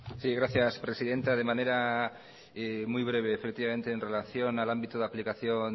sí gracias presidenta de manera muy breve en relación al ámbito de aplicación